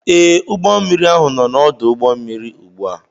Ee, ụgbọ mmiri ahụ nọ n'ọdụ ụgbọ mmiri ugbu a